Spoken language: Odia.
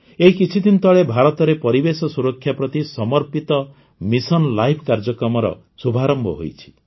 ଏହି କିଛିଦିନ ତଳେ ଭାରତରେ ପରିବେଶ ସୁରକ୍ଷା ପ୍ରତି ସମର୍ପିତ ମିଶନ ଲାଇପ କାର୍ଯ୍ୟକ୍ରମର ଶୁଭାରମ୍ଭ ହୋଇଛି